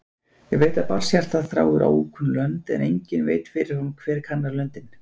Ég veit að barnshjartað þráir ókunn lönd, en enginn veit fyrirfram hver kannar löndin.